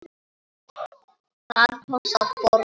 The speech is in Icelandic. Það kostar fórnir.